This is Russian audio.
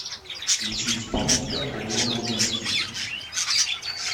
включи исполнителя родион лубенский